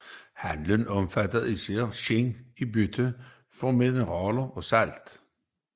Handelen omfattede især skind i bytte mod metaller og salt